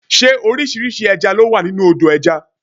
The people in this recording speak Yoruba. Ṣé orísìírísìí ẹja ló wà nínú Odò ẹja?